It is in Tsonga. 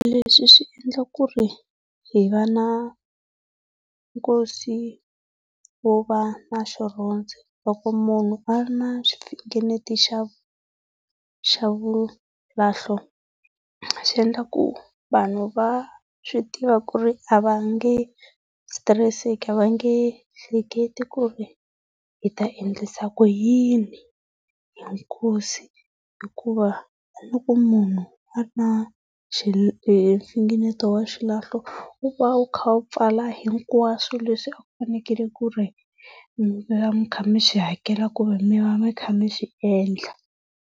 Leswi swi endla ku ri hi va na nkosi wo va na . Loko munhu a ri na xifingeneto xa xa vulahlo xi endla ku vanhu va swi tiva ku ri a va nge sitireseki a va nge hleketi ku ri hi ta endlisa ku yini hi nkosi hikuva loko munhu a ri na mfingeneto wa xilahlo, wu va wu kha wu pfala hinkwaswo leswi a ku fanekele ku ri mi va mi kha mi swi hakela kumbe mi va mi kha mi swi endla.